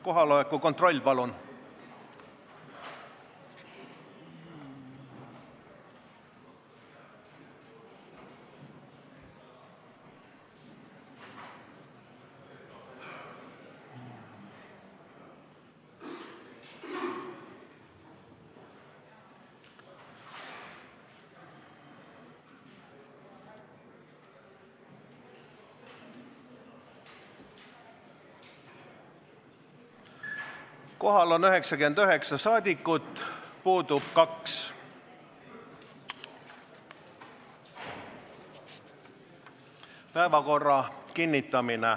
Kohaloleku kontroll Kohal on 99 saadikut, puudub 2.